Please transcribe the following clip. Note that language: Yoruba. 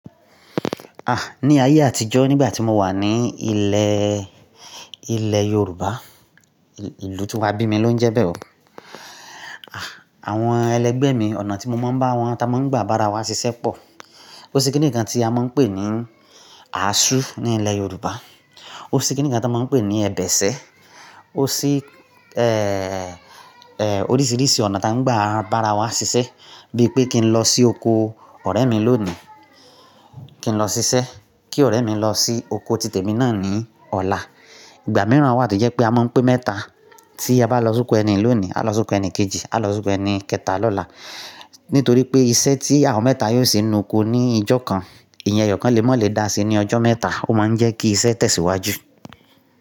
Ah! Ni ayé àtijọ́ nígbà tí mo wà ní ilẹ̀, ilẹ̀ Yorùbá, ìlú tí á bí mi ló ń jẹ́ bẹ́ẹ̀ oo. Ah! Àwọn ẹlẹgbẹ́ mi ọ̀nà tí mo máa ń bá wọn ta máa ń gba bára wa ṣiṣẹ́ pọ̀. Ó sí kíni kan tí a máa ń pè ní asu ní ilẹ̀ Yorùbá. Ó sí kíni kan tí a máa ń pè ní ẹbẹ̀ṣẹ. Ó sí, oríṣiríṣi ọ̀nà ta ń gba bára wa ṣiṣẹ́. Bí i pé kí n lọ sí oko ọ̀rẹ́ mi lónìí, kí n lọ ṣiṣẹ́, kí ọ̀rẹ́ mi lọ sí oko títè mi náà ní ọ̀la. Ìgbà mìíràn wa to jẹ́ pé a máa ń pẹ́ mẹ́ta. Tí a bá lọ sókù ẹni lónìí, á lọ sókù ẹni kejì, á lọ sókù ẹni kẹta lọ́la. Nítorí pé iṣẹ́ tí àwọn mẹ́ta yóò ṣe nu oko ní ìjọ kan, eyan ẹyọ kan ma lè dá sí ní ọjọ́ mẹ́ta. Ó máa ń jẹ́ kí iṣẹ́ tẹ̀síwájú.